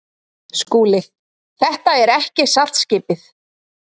SKÚLI: Þetta er ekki saltskipið.